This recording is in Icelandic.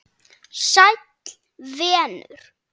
Sæll venur!